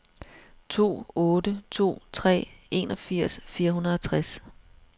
to otte to tre enogfirs fire hundrede og tres